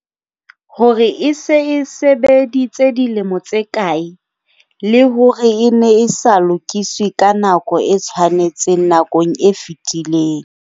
hore e se e sebeditse dilemo tse kae, le hore e ne e sa lokiswe ka nako e tshwanetseng nakong e fetileng.